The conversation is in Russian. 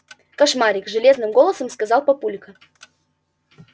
кошмарик железным голосом сказал папулька